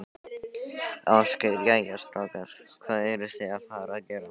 Ásgeir: Jæja, strákar, hvað eruð þið að fara að gera?